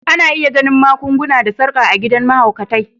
Ana iya ganin magun-guna da sarkar a gidan mahaukatai.